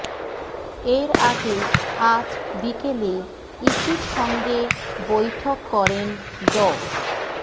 এর আগে আজ বিকেলে ইসির সঙ্গে বৈঠক করেন ড